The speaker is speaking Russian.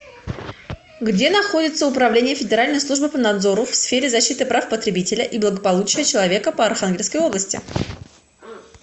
где находится управление федеральной службы по надзору в сфере защиты прав потребителей и благополучия человека по архангельской области